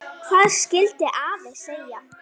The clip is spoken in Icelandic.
Hvað skyldi afi segja?